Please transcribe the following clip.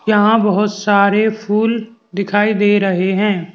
यहां बहोत सारे फूल दिखाई दे रहे हैं।